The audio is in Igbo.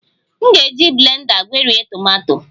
M ga-eji blenda gwerie tomato